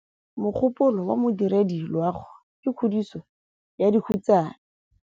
Mogôpolô wa Modirediloagô ke kgodiso ya dikhutsana.